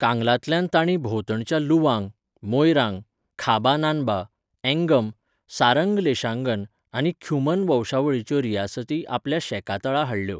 कांगलातल्यान तांणी भोंवतणच्या लुवांग, मोयरांग, खाबा नान्बा, अँगम, सारंग लेशांगन आनी ख्युमन वंशावळिंच्यो रियासती आपल्या शेकातळा हाडल्यो.